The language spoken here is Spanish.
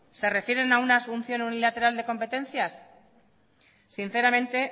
se refieren a una asunción unilateral de competencias sinceramente